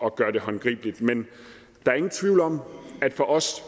at gøre det håndgribeligt men der er ingen tvivl om at for os